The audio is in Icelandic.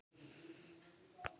En kemst málið á dagskrá?